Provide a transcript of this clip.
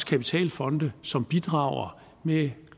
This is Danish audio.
kapitalfonde som bidrager med